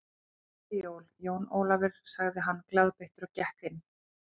Gleðileg jól, Jón Ólafur sagði hann glaðbeittur og gekk inn.